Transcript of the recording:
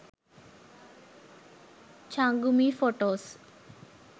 changumi photos